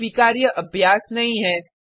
और स्वीकार्य अभ्यास नहीं है